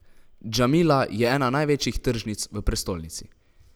Džamila je ena največjih tržnic v prestolnici.